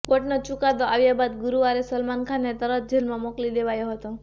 કોર્ટનો ચુકાદો આવ્યા બાદ ગુરુવારે સલમાન ખાનને તરત જેલમાં મોકલી દેવાયો હતો